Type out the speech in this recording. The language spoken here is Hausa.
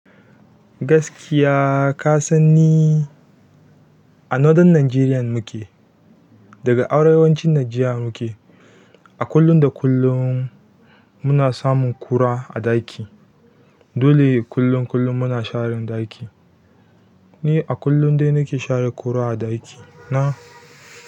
Gaskiya ka san ni a Northern Nigeria muke, daga arewacin Nigeria muke. A kullum da kullum muna samun ƙura a ɗaki. Dole kullun kullun muna sharan ɗaki. Ni a kullum dai nake share ƙura a ɗaki. Na.